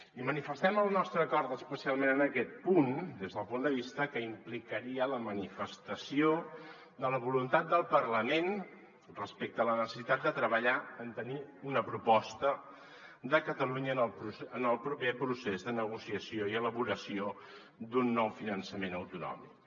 i manifestem el nostre acord especialment en aquest punt des del punt de vista que implicaria la manifestació de la voluntat del parlament respecte a la neces·sitat de treballar en tenir una proposta de catalunya en el proper procés de negocia·ció i elaboració d’un nou finançament autonòmic